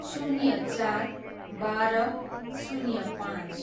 शून्य चार, बाह्र, शून्य पाँच